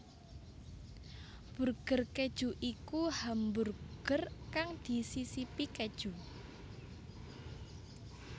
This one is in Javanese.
Burger keju iku hamburger kang disisipi keju